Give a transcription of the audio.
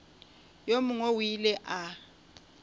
yo mongwe o ile a